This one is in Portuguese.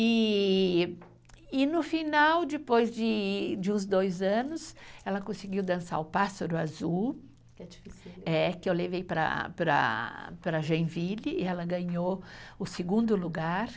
E no final, depois de uns dois anos, ela conseguiu dançar o Pássaro Azul, que eu levei para, para, para Genville, e ela ganhou o segundo lugar.